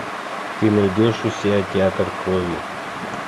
ты найдешь у себя театр крови